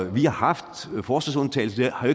vi har haft forsvarsundtagelsen det har